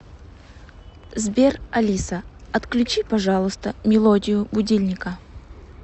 сбер алиса отключи пожалуйста мелодию будильника